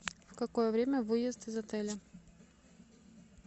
в какое время выезд из отеля